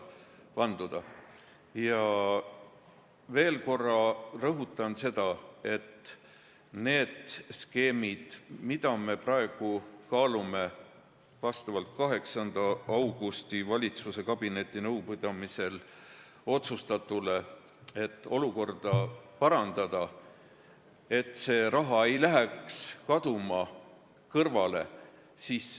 Ja ma veel kord rõhutan seda, et need skeemid, mida me praegu kaalume vastavalt 8. augustil valitsuskabineti nõupidamisel otsustatule, on selleks, et olukorda parandada, et see raha ei läheks kaduma, kõrvale.